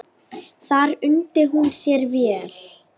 Þar undi hún sér vel.